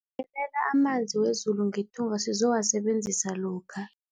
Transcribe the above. Bekelela amanzi wezulu ngethunga sizowasebenzisa lokha.